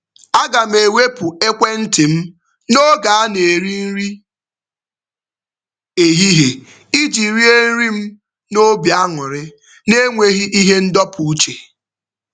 Aga m ewepụ ekwentị m n'oge a na-eri nri ehihie iji rie nri m n'obi aṅụrị n'enweghị ihe ndọpụ uche.